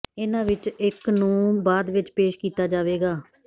ਇਹਨਾਂ ਵਿਚੋਂ ਇਕ ਨੂੰ ਬਾਅਦ ਵਿਚ ਪੇਸ਼ ਕੀਤਾ ਜਾਵੇਗਾ